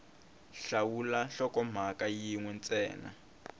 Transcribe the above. hlawula nhlokomhaka yin we ntsena